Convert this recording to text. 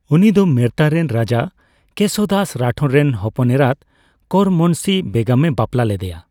ᱩᱱᱤ ᱫᱚ ᱢᱮᱨᱛᱟ ᱨᱮᱱ ᱨᱟᱡᱟ ᱠᱮᱥᱳ ᱫᱟᱥ ᱨᱟᱴᱷᱳᱨ ᱨᱮᱱ ᱦᱚᱯᱚᱱᱮᱨᱟᱛ ᱠᱚᱨᱢᱚᱱᱥᱤ ᱵᱮᱜᱚᱢᱮ ᱵᱟᱯᱞᱟ ᱞᱮᱫᱮᱭᱟ ᱾